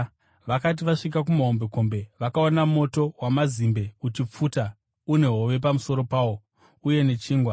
Vakati vasvika kumahombekombe, vakaona moto wamazimbe uchipfuta une hove pamusoro pawo, uye nechingwa.